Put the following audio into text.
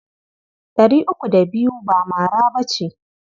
Ɗari uku da biyu ba mara ba ce.